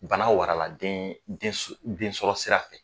Bana warala den den so densɔrɔ sira fɛ